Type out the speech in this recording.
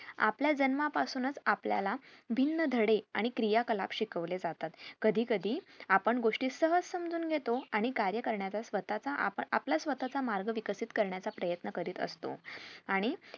आपल्या जन्मापासून च आपल्याला भिन्न धडे आणि क्रिया कला शिकवले जातात कधीकधी आपण गोष्टी सहज समजून घेतो आणि कार्य करण्याचा स्वतःचा आपण आपला स्वतःचा मार्ग विकसित करण्याचा प्रयत्न करीत असतो आणि